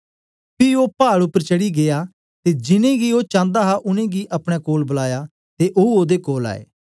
पी ओ पाड उपर चढ़ी गीया ते जिन्नें गी ओ चांदा हा उनेंगी अपने कोल बलाया ते ओ ओदे कोल आए